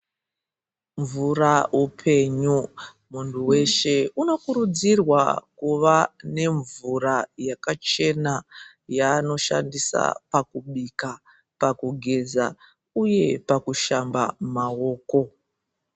Mvura upenyu, muntu weshe unokurudzirwa kuva nemvura yakachena yaanoshandisa pakubika, pakugeza uye pakushamba mawoko.